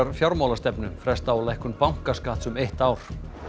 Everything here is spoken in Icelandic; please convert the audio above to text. fjármálastefnu fresta á lækkun bankaskatts um eitt ár